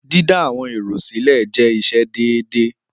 Dídá àwọn èrò sílẹ̀ jẹ́ iṣẹ́ déédéé.